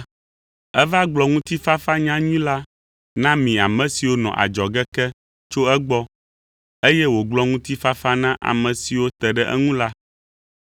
Eva gblɔ ŋutifafa nyanyui la na mi ame siwo nɔ adzɔge ke tso egbɔ, eye wògblɔ ŋutifafa na ame siwo te ɖe eŋu la.